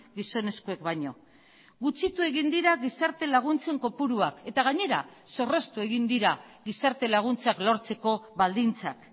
gizonezkoek baino gutxitu egin dira gizarte laguntzen kopuruak eta gainera zorroztu egin dira gizarte laguntzak lortzeko baldintzak